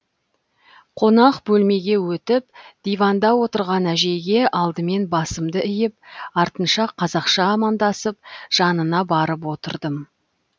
қонақ бөлмеге өтіп диванда отырған әжейге алдымен басымды иіп артынша қазақша амандасып жанына барып отырдым